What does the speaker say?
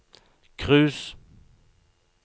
cruise